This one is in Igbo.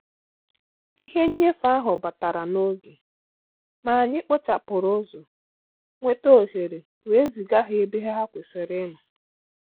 Ìhè nnyéfé áhụ́ bàtàrà n’ógè, mà ànyị́ kpòchàpụ́rụ̀ ụ́zọ́ nwétà òhéré wèé zìgà hà ébè hà kwésị́rị́ ì nọ́.